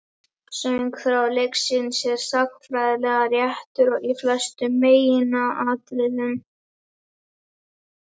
Söguþráður leiksins er sagnfræðilega réttur í flestum meginatriðum.